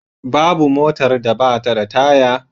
Babu motar da ba ta da taya.